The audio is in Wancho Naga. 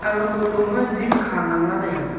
aga photo ma gym kha nganla taiga.